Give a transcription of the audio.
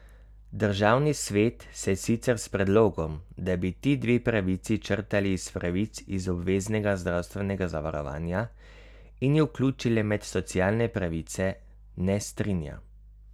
Državni svet se sicer s predlogom, da bi ti dve pravici črtali iz pravic iz obveznega zdravstvenega zavarovanja in ju vključili med socialne pravice, ne strinja.